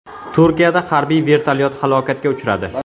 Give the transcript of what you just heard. Turkiyada harbiy vertolyot halokatga uchradi.